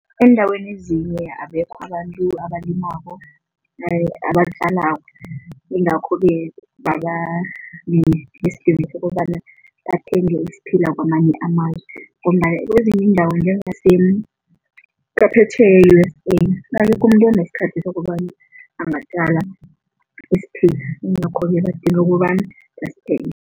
Eendaweni ezinye abekho abantu abalimako yingakho-ke kungaba nesidingo sokobana bathenge isiphila kwamanye amazwe. Ngombana kwezinye iindawo njengase e-U_S_A umuntu onesikhathi sokobana angatjala isiphila yingakho-ke badinga ukobana basithenge.